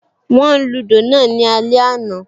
Wọ́n lúdò náà ní alẹ́ àná